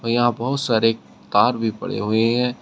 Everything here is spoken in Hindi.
यहाँ बहुत सारे तार भी पड़े हुए हैं।